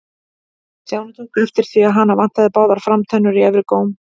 Stjáni tók eftir því að hana vantaði báðar framtennur í efri góm.